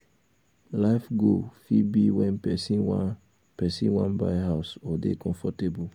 life goal fit be when person wan person wan buy house or dey comfortable